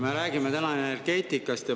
Me räägime täna energeetikast.